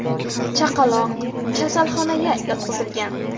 Chaqaloq kasalxonaga yotqizilgan.